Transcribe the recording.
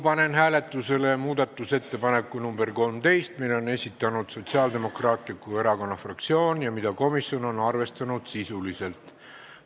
Panen hääletusele muudatusettepaneku nr 13, mille on esitanud Sotsiaaldemokraatliku Erakonna fraktsioon ja mida on komisjon arvestanud sisuliselt.